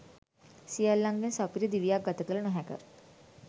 සියල්ලන්ගෙන් සපිරි දිවියක් ගත කළ නොහැක.